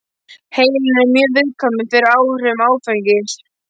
Heilinn er mjög viðkvæmur fyrir áhrifum áfengis.